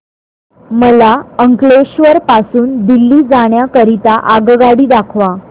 मला अंकलेश्वर पासून दिल्ली जाण्या करीता आगगाडी दाखवा